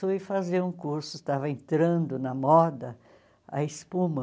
Fui fazer um curso, estava entrando na moda a espuma.